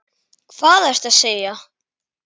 Hvað ertu að segja!